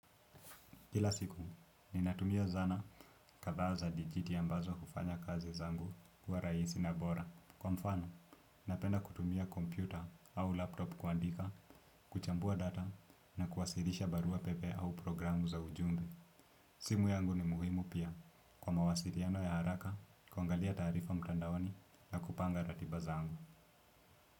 Kila siku, ninatumia zana kadhaa za dijiti ambazo hufanya kazi zangu kuwa rahisi na bora. Kwa mfano, napenda kutumia kompyuta au laptop kuandika, kuchambua data na kuwasilisha barua pepe au programu za ujumbe. Simu yangu ni muhimu pia. Kwa mawasiliano ya haraka, kuangalia taarifa mtandaoni na kupanga ratiba zangu.